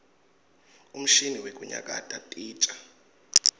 umshini wekuyakata titja